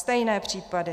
Stejné případy.